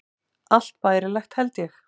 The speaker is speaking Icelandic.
Allt bærilegt, held ég.